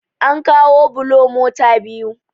an kawo bulo mota biyu